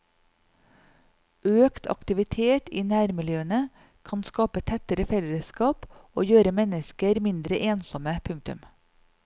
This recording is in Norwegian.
Økt aktivitet i nærmiljøene kan skape tettere fellesskap og gjøre mennesker mindre ensomme. punktum